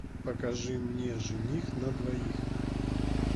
покажи мне жених на двоих